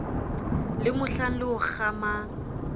le mohlang le o kgamang